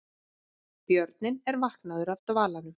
Björninn er vaknaður af dvalanum